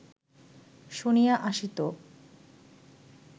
শুনিয়া আসিত